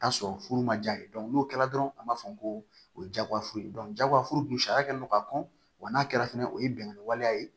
Taa sɔrɔ furu ma ja ye n'o kɛra dɔrɔn an b'a fɔ ko o ye jagoyafuru ye jagoya furu dun sariya kɛlen do ka kɔn wa n'a kɛra fɛnɛ o ye bɛnkan waleya ye